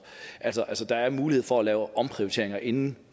der er mulighed for at lave omprioriteringer inden